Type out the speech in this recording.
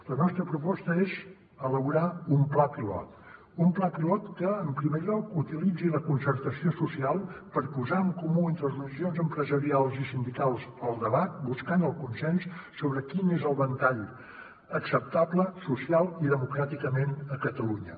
la nostra proposta és elaborar un pla pilot un pla pilot que en primer lloc utilitzi la concertació social per posar en comú entre organitzacions empresarials i sindicals el debat buscant el consens sobre quin és el ventall acceptable socialment i democràticament a catalunya